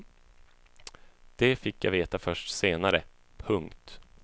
Det fick jag veta först senare. punkt